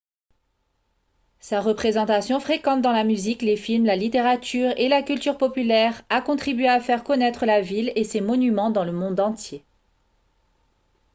sa représentation fréquente dans la musique les films la littérature et la culture populaire a contribué à faire connaître la ville et ses monuments dans le monde entier